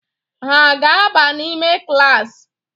Ha aga-aba n'ime klaasị?